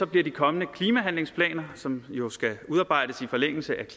bliver de kommende klimahandlingsplaner som jo skal udarbejdes i forlængelse af